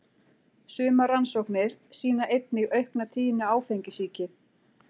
Sumar rannsóknir sýna einnig aukna tíðni áfengissýki.